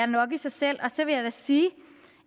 nok i sig selv og så vil jeg sige